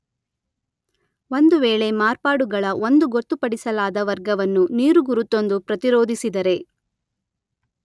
ಒಂದು ವೇಳೆ ಮಾರ್ಪಾಡುಗಳ ಒಂದು ಗೊತ್ತುಪಡಿಸಲಾದ ವರ್ಗವನ್ನು ನೀರುಗುರುತೊಂದು ಪ್ರತಿರೋಧಿಸಿದರೆ